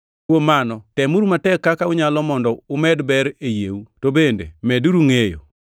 Kuom mano, temuru matek kaka unyalo mondo umed ber e yieu, to bende medeuru ngʼeyo;